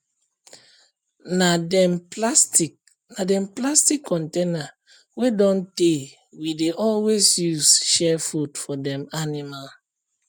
na dem plastic na dem plastic container wey don tey we dey always use share food for dem animal